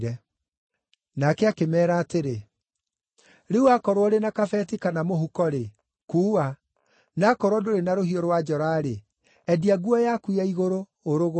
Nake akĩmeera atĩrĩ, “Rĩu akorwo ũrĩ na kabeti kana mũhuko-rĩ, kuua; na akorwo ndũrĩ na rũhiũ rwa njora-rĩ, endia nguo yaku ya igũrũ, ũrũgũre.